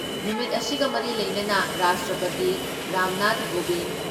ꯅꯨꯃꯤꯠ ꯑꯁꯤꯒ ꯃꯔꯤ ꯂꯩꯅꯅ ꯔꯥꯁꯇ꯭ꯔꯄꯇꯤ ꯔꯥꯝꯅꯥꯊ ꯀꯣꯕꯤꯟ,